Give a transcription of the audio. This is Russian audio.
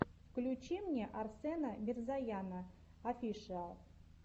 включи мне арсена мирзояна офишиал